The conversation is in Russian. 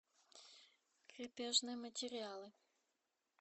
крепежные материалы